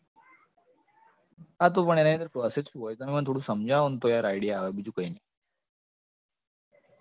હા તો પણ એની અંદર process શુ હોય? તમે મને થોડુ સમજાવાનો તો યાર idea આવે, બીજુ કઈ નઈ